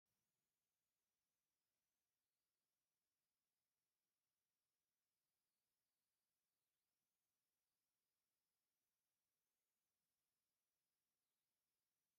አዝያ ደስ ብሃሊትን ውቅብቲ ዝኮነት ሓንቲ ጎል ኣንስትየቲ ኮይና ጋመ ሰለስተ ኣልባሶ ዘለዎ ቁኖ ዝተቆነነት እያ። ኣብ እዝና ገይራቶ ዘላ እንታይ ይብሃል?